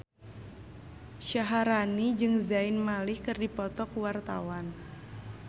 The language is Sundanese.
Syaharani jeung Zayn Malik keur dipoto ku wartawan